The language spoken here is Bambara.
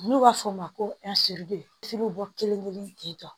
N'u b'a fɔ o ma ko bɛ bɔ kelen kelen ten